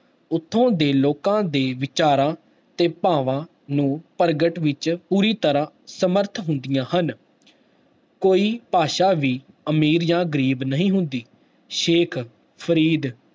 ਉੱਥੋਂ ਦੇ ਲੋਕਾਂ ਦੇ ਵਿਚਾਰਾਂ ਤੇ ਭਾਵਾਂ ਨੂੰ ਪ੍ਰਗਟ ਵਿੱਚ ਪੂਰੀ ਤਰ੍ਹਾਂ ਸਮਰਥ ਹੁੰਦੀਆਂ ਹਨ ਕੋਈ ਭਾਸ਼ਾ ਵੀ ਅਮੀਰ ਜਾਂ ਗ਼ਰੀਬ ਨਹੀਂ ਹੁੰਦੀ, ਸੇਖ ਫ਼ਰੀਦ